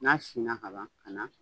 N'a sina ka ban ka na